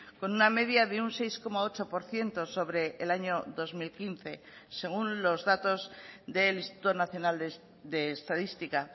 con una media de un seis coma ocho por ciento sobre el año dos mil quince según los datos del instituto nacional de estadística